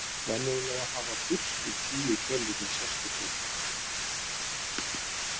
Venjulega hafa fyrstu tíu tölurnar sérstök heiti.